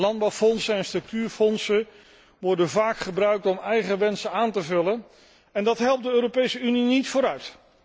Landbouw en structuurfondsen worden vaak gebruikt om eigen wensen aan te vullen en dat helpt de Europese Unie niet vooruit.